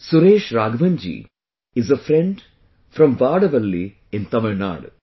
Suresh Raghavan ji is a friend from Vadavalli in Tamil Nadu